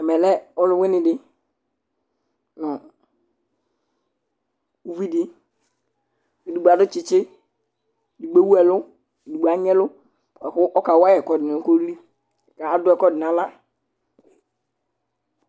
Ɛmɛ lɛ ɔlʋwɩnɩ dɩ nʋ uvi dɩ kʋ edigbo adʋ tsɩtsɩ, edigbo ewu ɛlʋ, edigbo anyɩ ɛlʋ bʋa kʋ ɔkawa yɩ ɛkʋɛdɩ nʋ koli la kʋ adʋ ɛkʋɛdɩ nʋ aɣla